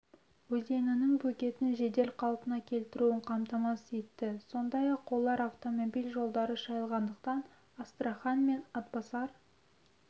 өзенінің бөгетін жедел қалпына келтіруін қамтамасыз етті сондай-ақ олар автомобиль жолдары шайылғандықтан астрахан мен атбасар